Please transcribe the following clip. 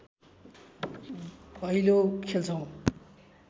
भैलो खेल्छौँ